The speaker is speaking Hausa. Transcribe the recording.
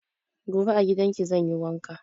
Gobe a gidan ki zan yi wanka.